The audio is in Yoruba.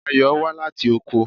Ayò wá láti oko.